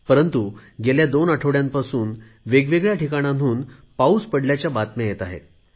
परंतु गेल्या दोन आठवड्यांपासून वेगवेगळ्या ठिकाणांहून पाऊस पडल्याच्या बातम्या येत आहेत